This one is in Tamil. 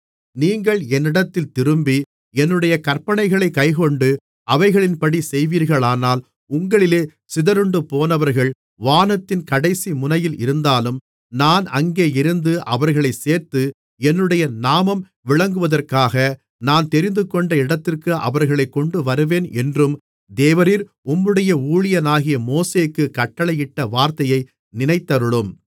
நீங்கள் என்னிடத்தில் திரும்பி என்னுடைய கற்பனைகளைக் கைக்கொண்டு அவைகளின்படி செய்வீர்களானால் உங்களிலே சிதறுண்டுபோனவர்கள் வானத்தின் கடைசி முனையில் இருந்தாலும் நான் அங்கேயிருந்து அவர்களைச் சேர்த்து என்னுடைய நாமம் விளங்குவதற்காக நான் தெரிந்துகொண்ட இடத்திற்கு அவர்களைக் கொண்டுவருவேன் என்றும் தேவரீர் உம்முடைய ஊழியனாகிய மோசேக்குக் கட்டளையிட்ட வார்த்தையை நினைத்தருளும்